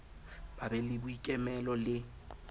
ba be le boikemelo le